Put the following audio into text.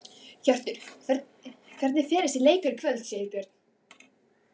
Hjörtur: Hvernig fer þessi leikur í kvöld, Sigurbjörn?